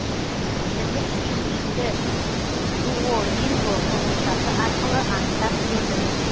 тілдік деңгейімді дуолинго қосымшасы арқылы анықтап көрдім